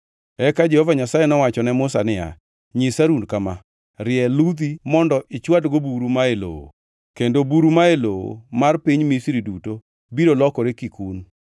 Eka Jehova Nyasaye nowacho ne Musa niya, “Nyis Harun kama: ‘Rie ludhi mondo ichwadgo buru ma e lowo,’ kendo buru ma e lowo mar piny Misri duto biro lokore kikun.”